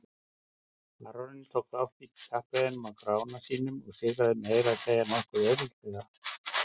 Baróninn tók þátt í kappreiðunum á Grána sínum og sigraði meira að segja nokkuð auðveldlega.